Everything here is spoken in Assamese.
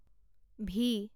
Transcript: ভি